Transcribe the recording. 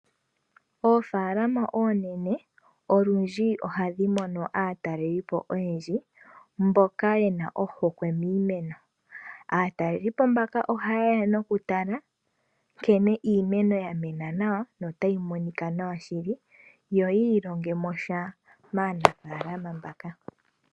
Oofaalama oonene olundji ohadhi mono aatalelipo oyendji mboka yena ohokwe miimeno. Aatalelipo mbaka ohaye ya oku tala nkene iimeno ya ziza nawa na otayi monika nawa. Yo yi ilonge mo sha maanafaalama mbaka.